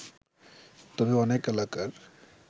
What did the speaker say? তবে অনেক এলাকার